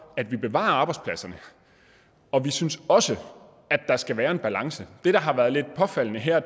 at bevare arbejdspladserne og vi synes også at der skal være en balance det der har været lidt påfaldende her